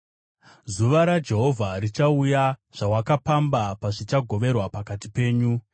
Zuva raJehovha richauya zvawakapamba pazvichagoverwa pakati penyu.